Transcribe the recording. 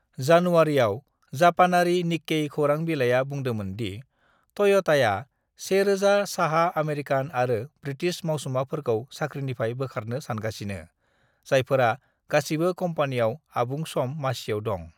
"जानुवारिआव, जापानारि निक्केई खौरां बिलाइआ बुंदोंमोन दि टय'टाया 1,000 साहा अमेरिकान आरो ब्रिटिश मावसुमाफोरखौ साख्रिनिफ्राय बोखारनो सानगासिनो, जायफोरा गासिबो कम्पानियाव आबुं-सम मासियाव दं।"